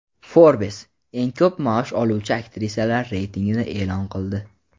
"Forbes" eng ko‘p maosh oluvchi aktrisalar reytingini e’lon qildi.